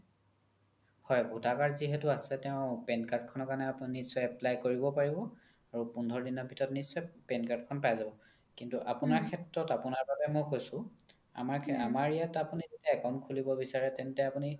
হয় voter card যিহেতু আছে তেও PAN card খনৰ কাৰণে আপোনি নিশ্চয় apply কৰিব পাৰিব আৰু পোন্ধৰ দিনৰ ভিতৰত নিশ্চয় PAN card খন পাই যাব কিন্তু আপোনাৰ সেত্ৰত আপোনাৰ বাবে মই কৈছো আমাৰ ইয়াত account খুলিব বিচাৰে তেন্তে আপোনি